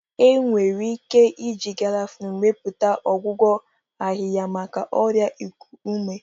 Enwere ike iji Gaarafuni mepụta ọgwụgwọ ahịhịa maka ọrịa iku ume.